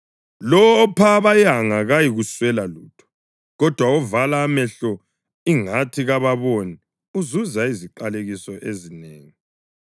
Lowo opha abayanga kayikuswela lutho, kodwa ovala amehlo ingathi kababoni uzuza iziqalekiso ezinengi.